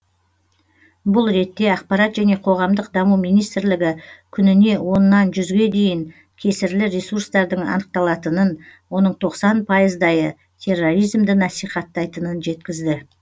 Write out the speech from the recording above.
бұл ретте ақпарат және қоғамдық даму министрлігі күніне оннан жүзге дейін кесірлі ресурстардың анықталатынын оның тоқсан пайыздайы терроризмді насихаттайтынын жеткізді